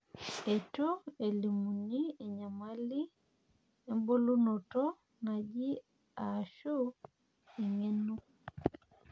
eitu elimuni enyamali ebulunoto naje ashu engeno.